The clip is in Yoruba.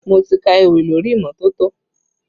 Mo ti ka ewì lórí imọtoto